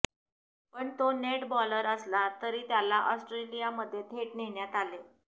पण तो net bowler असला तरी त्याला ऑस्ट्रेलिमध्ये थेट नेण्यात आले